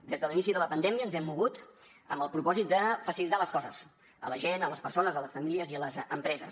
des de l’inici de la pandèmia ens hem mogut amb el propòsit de facilitar les coses a la gent a les persones a les famílies i a les empreses